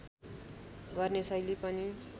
गर्ने शैली पनि